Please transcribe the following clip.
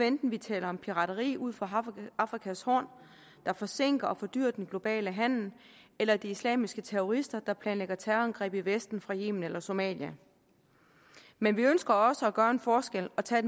enten vi taler om pirateri ud for afrikas horn der forsinker og fordyrer den globale handel eller de islamiske terrorister der planlægger terrorangreb i vesten fra yemen eller somalia men vi ønsker også at gøre en forskel og tage